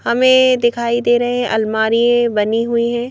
हमें दिखाई दे रहे हैं अलमारी बनी हुई हैं।